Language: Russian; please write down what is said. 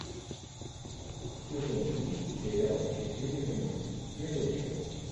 сезон три сериал счастливый конец первая часть